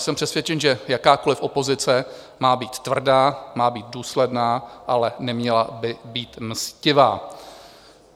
Jsem přesvědčen, že jakákoliv opozice má být tvrdá, má být důsledná, ale neměla by být mstivá.